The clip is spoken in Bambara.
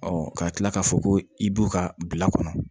ka tila k'a fɔ ko i b'u ka bila kɔnɔ